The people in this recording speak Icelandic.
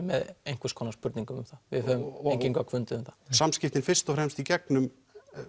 með einhvers konar spurningum um það við höfum engin gögn fundið um það samskiptin fyrst og fremst í gegnum